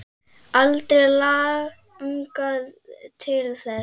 Aldrei langað til þess.